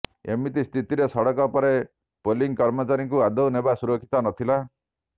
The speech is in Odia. ଏମିତି ସ୍ଥିତିରେ ସଡ଼କ ପଥରେ ପୋଲିଂ କର୍ମଚାରୀଙ୍କୁ ନେବା ଆଦୌ ସୁରକ୍ଷିତ ନଥିଲା